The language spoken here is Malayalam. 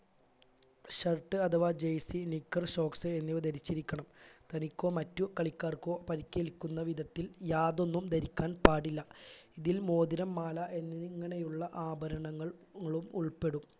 shirt അഥവാ jersey knicker socks എന്നിവ ധരിച്ചിരിക്കണം തനിക്കോ മറ്റു കളിക്കാർക്കോ പരിക്കേൽക്കുന്ന വിധത്തിൽ യാതൊന്നും ധരിക്കാൻ പാടില്ല ഇതിൽ മോതിരം മാല എന്നിങ്ങനെയുള്ള ആഭരണങ്ങൾ ങ്ങളും ഉൾപ്പെടും